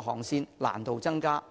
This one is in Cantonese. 航線的難度增加。